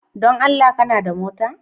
Don Allah kana da mota?